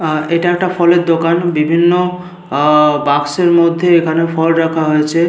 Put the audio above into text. আ এটা এইটা একটা ফলের দোকান। বিভিন্ন আ বাক্সের মধ্যে এখানে ফল রাখা হয়েছে।